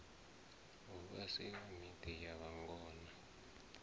hu vhasiwe miḓi ya vhangona